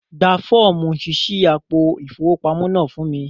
Gbà fọ̀ọ̀mú ṣíṣí àpò ifowópamọ̀ náà fún mi!